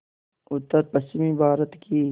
उत्तरपश्चिमी भारत की